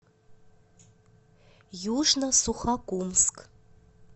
южно сухокумск